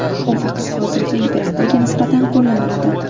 U faqat hozirgi imperatorga nisbatan qo‘llaniladi.